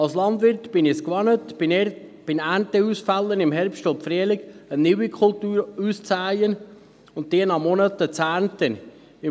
Als Landwirt bin ich es gewohnt, bei Ernteausfällen im Herbst und Frühjahr eine neue Kultur auszusähen und diese nach Monaten zu ernten.